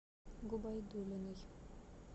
губайдуллиной